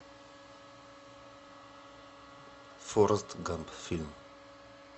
форест гамп фильм